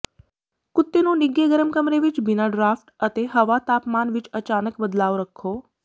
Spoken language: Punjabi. ਕੁੱਤੇ ਨੂੰ ਨਿੱਘੇ ਗਰਮ ਕਮਰੇ ਵਿਚ ਬਿਨਾਂ ਡਰਾਫਟ ਅਤੇ ਹਵਾ ਤਾਪਮਾਨ ਵਿਚ ਅਚਾਨਕ ਬਦਲਾਵ ਰੱਖੋ